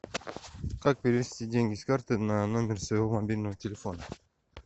как перевести деньги с карты на номер своего мобильного телефона